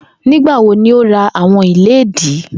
Nigbawo ni o ra awọn iledìí?